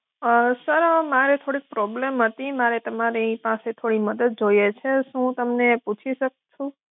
અં sir મારે થોડીક problem હતી મારે તમારી પાસે થોડી મદદ જોઈએ છે, શું હું તમને પૂછી શકું છું?